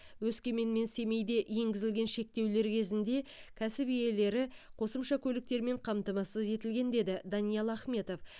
өскемен мен семейде енгізілген шектеулер кезінде кәсіп иелері қосымша көліктермен қамтамасыз етілген деді даниал ахметов